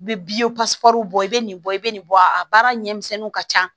I bɛ bɔ i bɛ nin bɔ i bɛ nin bɔ a baara ɲɛminɛninw ka ca